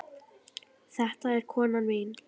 Þetta er konan mín!